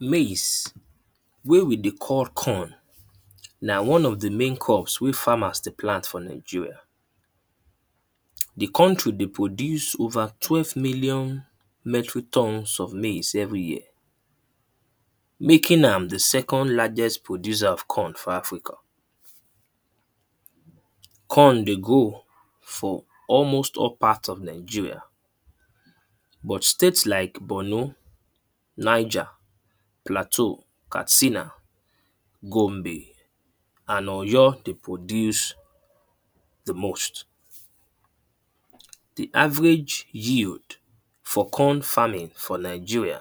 Maize wey we dey call corn na one of the main crops wey farmers dey plant for Nigeria. The country dey produce over twelve million metro thorns of maize every year. Making am the second lagest producer of corn for africa. Corn dey grow for almost all part of Nigeria. But state like Bornu, Niger, Plateau, Katsina, Gombe and Oyo dey produce the most. The average yield for corn farming for Nigeria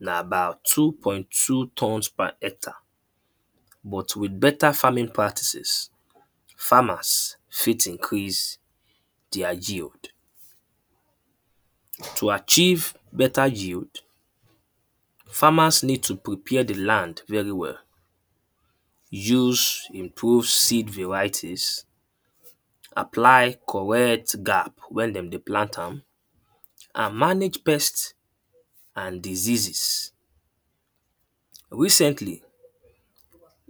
na about two point two thorns per hectare. But with better farming practices, farmers fit increase their yield. To achieve better yield, farmers need to prepare the land very well. Use improve seed varieties, apply correct gap when dem dey plant am, and manage pest and diseases. Recently,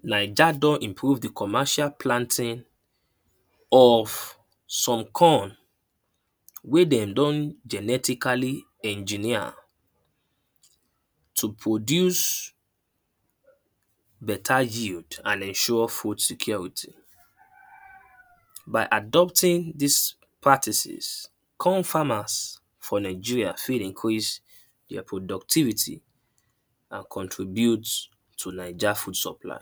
naija don improve the commercial planting of some corn wey dem don genetically engineer to produce better yield and ensure food security. By adopting dis practices, corn farmers for Nigera fit increase their productivity and contribute to naija food supply.